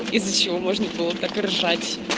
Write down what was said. из-за чего можно было так ржать